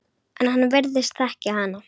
En hann virðist þekkja hana.